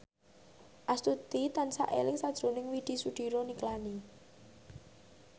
Astuti tansah eling sakjroning Widy Soediro Nichlany